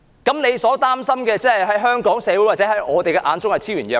他們所擔心的問題，在香港社會或我們的眼中可說是昭然若揭。